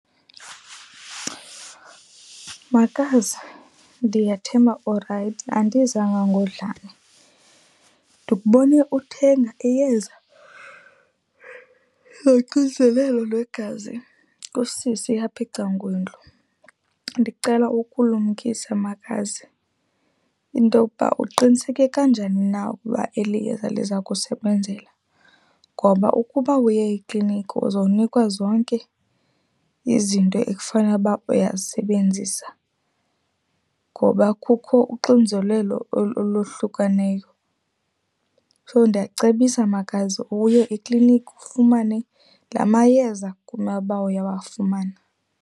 Makazi, ndiyathemba urayithi, andizanga ngodlame. Ndikubone uthenga iyeza loxinzelelo lwegazi kusisi apha ecan'kwendlu. Ndicela ukulumkisa makazi into yokuba uqiniseke kanjani na ukuba eli yeza liza kusebenzela ngoba ukuba uye ekliniki uzonikwa zonke izinto ekufana uba uyazisebenzisa. Ngoba kukho uxinzelelo olohlukaneyo so ndiyakucebisa makazi uye ekliniki ufumane la mayeza kumele uba uyawafumana.